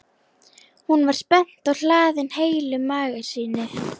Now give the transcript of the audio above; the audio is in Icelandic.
Hún var spennt og hlaðin heilu magasíni.